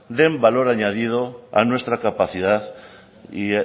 den valor añadido a nuestra capacidad